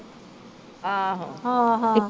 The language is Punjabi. ਹਾਂ ਹਾਂ।